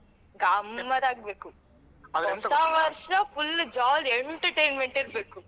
ಗಮ್ಮತ್ತಾಗ್ಬೇಕು ಹೊಸ ವರ್ಷ full jolly entertainment ಇರ್ಬೇಕು.